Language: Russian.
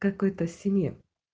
какой-то стене